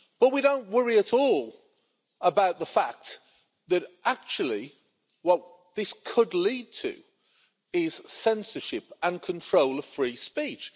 But we don't worry at all about the fact that actually what this could lead to is censorship and control of free speech.